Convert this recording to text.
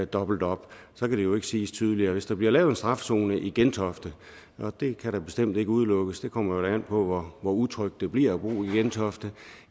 dobbelt op så kan det jo ikke siges tydeligere hvis der bliver lavet en strafzone i gentofte og det kan da bestemt ikke udelukkes det kommer vel an på hvor utrygt det bliver at bo i gentofte